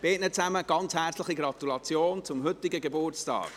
Beiden gratuliere ich ganz herzlich zum heutigen Geburtstag.